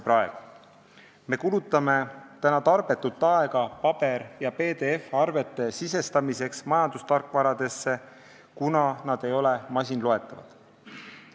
Me kulutame tarbetult aega paber- ja PDF-arvete sisestamiseks majandustarkvarasse, kuna arved ei ole masinloetavad.